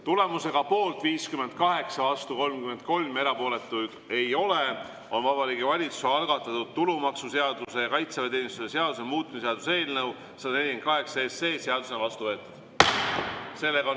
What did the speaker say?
Tulemusega poolt 58, vastuolijaid 33 ja erapooletuid ei ole, on Vabariigi Valitsuse algatatud tulumaksuseaduse ja kaitseväeteenistuse seaduse muutmise seaduse eelnõu 148 seadusena vastu võetud.